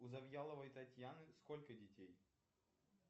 у завьяловой татьяны сколько детей